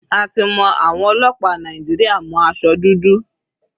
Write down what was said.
A ti mọ àwọn ọlọ́pàá Nàìjíríà mọ́ aṣọ dúdú.